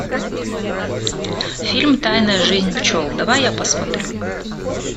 фильм тайная жизнь пчел давай я посмотрю